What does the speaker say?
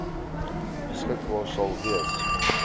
beskikbaar sal wees